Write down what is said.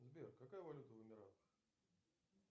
сбер какая валюта в эмиратах